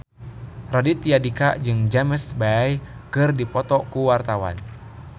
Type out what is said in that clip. Raditya Dika jeung James Bay keur dipoto ku wartawan